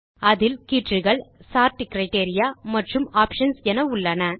அதில் கீற்றுகள் sort criteria மற்றும் ஆப்ஷன்ஸ் என உள்ளன